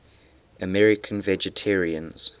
american vegetarians